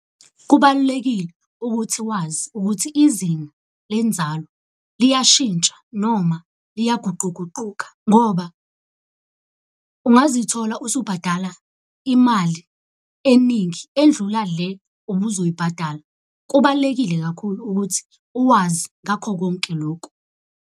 Kubalulekile ukuthi wazi ukuthi izinga lenzalo liyashintsha noma liyaguquguquka ngoba ungazithola usubhadala imali eningi endlula le ubuzoyibhatala. Kubalulekile kakhulu ukuthi uwazi ngakho konke loku.